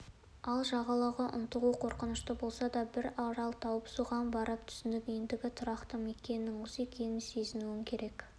ал жағалауға ынтығу қорқынышты болса бір арал тауып соған барып түсіп ендігі тұрақты мекеніңнің осы екенін сезінуің керек